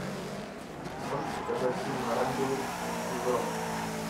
можешь показать фильм оранжевый хит сезона